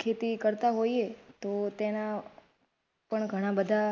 ખેતી કરતા હોઈએ તો તેના પણ ઘણા બધા.